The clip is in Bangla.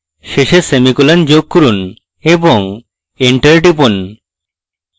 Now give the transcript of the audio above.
শেষে semicolon যোগ করুন এবং enter টিপুন